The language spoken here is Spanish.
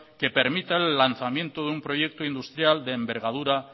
que permita el lanzamiento de un proyecto industrial de envergadura